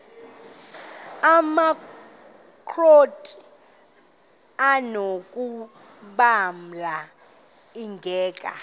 amakrot anokulamla ingeka